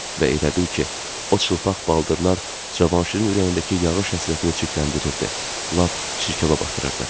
Və elə bil ki, o çılpaq baldırlar Cavanşirin ürəyindəki yağış həsrətini çirkləndirirdi, lap çirkaba batırırdı.